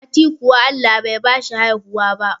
Mati kuwa Allah Bai bashi haihuwa ba